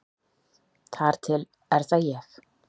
Þar til er það ég.